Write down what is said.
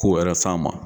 Ko wɛrɛ f'a ma